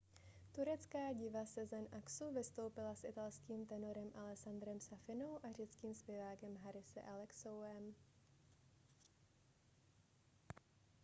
turecká diva sezen aksu vystoupila s italským tenorem alessandrem safinou a řeckým zpěvákem harisem alexiouem